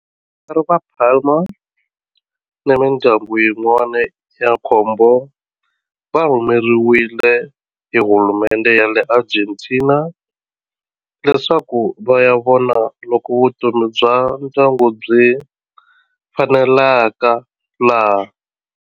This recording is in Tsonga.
Vatswari va Palma ni mindyangu yin'wana ya nkombo va rhumeriwe hi hulumendhe ya le Argentina leswaku va ya vona loko vutomi bya ndyangu byi faneleka laha.